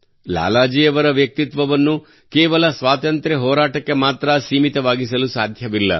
ಲಾಲಾ ಜಿ ಅವರ ವ್ಯಕ್ತಿತ್ವವನ್ನು ಕೇವಲ ಸ್ವಾತಂತ್ರ್ಯ ಹೋರಾಟಕ್ಕೆ ಮಾತ್ರಾ ಸೀಮಿತವಾಗಿಸಲು ಸಾಧ್ಯವಿಲ್ಲ